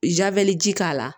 ji k'a la